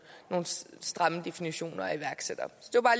stramme definitioner at iværksætter